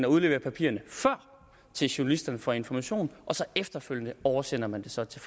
og udlevere papirerne til journalisterne fra information og efterfølgende oversender man det så til